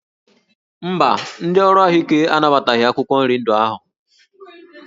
Mba, ndị ọrụ ahụike anabataghị akwụkwọ nri ndị ahụ